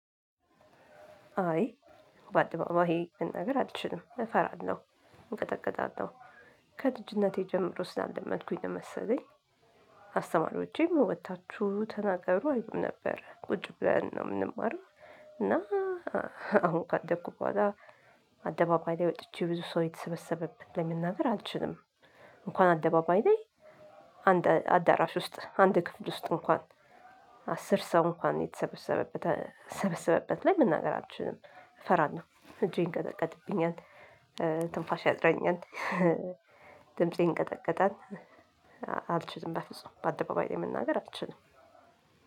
አይ በአደባባይ ይሄ መናገር አልችልም እፈራለሁ እንቀጠቀጣለው። ከልጅነቴ ጀምሮ ስላለመድኩኝ ነው መሰለኝ። አስተማሪዎቼም ወጥታችሁ ተናገሩ አይሉም ነበር ቁጭ ብለን ነው የምንማረው እና። አሁን ካደኩ በኋላ አደባባይ ላይ ወጥቼ ብዙ ሰው የተሰበሰበበት ለመናገር አልችልም። እንኳን አደባባይ ላይ አንድ አዳራሽ ውስጥ አንድ ክፍል ውስጥ እንኳን። አስር ሰው እንኳን የተሰበሰበበት የተሰበሰበበት ላይ መናገር አልችልም እፈራለሁ እጄን ይንቀጠቀጥብኛል። ትንፋሽ ያጥረኛል። ድምፄ ይንቀጠቀጣል። አልችልም በፍጹም በአደባባይ ላይ መናገር አልችልም።